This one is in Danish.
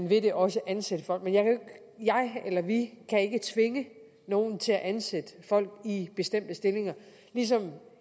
vil det også ansætte folk men jeg eller vi kan ikke tvinge nogen til at ansætte folk i bestemte stillinger ligesom